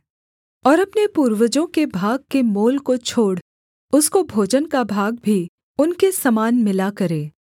और अपने पूर्वजों के भाग के मोल को छोड़ उसको भोजन का भाग भी उनके समान मिला करे